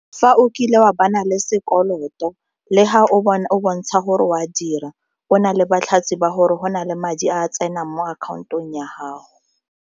Fa o kile wa le sekoloto le ga o bontsha gore o a dira o na le ba gore go na le madi a tsenang mo akhaontong ya gago.